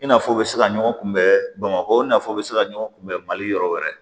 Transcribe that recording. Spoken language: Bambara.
I n'a fɔ u bɛ se ka ɲɔgɔn kunbɛn bamakɔ nafaw bɛ se ka ɲɔgɔn kunbɛn mali yɔrɔ wɛrɛ